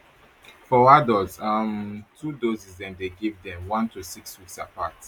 for adults um two doses dem dey give dem one to six weeks apart